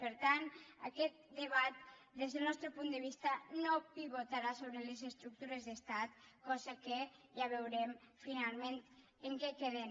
per tant aquest debat des del nostre punt de vista no pivotarà sobre les estructures d’estat cosa que ja veurem finalment en què queda